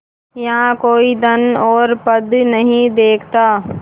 यहाँ कोई धन और पद नहीं देखता